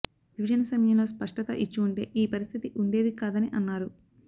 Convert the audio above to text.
విభజన సమయంలో స్పష్టత ఇచ్చి ఉంటే ఈ పరిస్థితి ఉండేది కాదని అన్నారు